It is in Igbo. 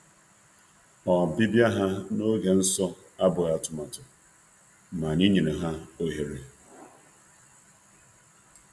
Na nleta ha n'oge awa dị nsọ bụ nke a na-atụghị a na-atụghị anya ya, ma anyị nyere ha ohere.